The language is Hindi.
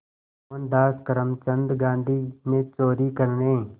मोहनदास करमचंद गांधी ने चोरी करने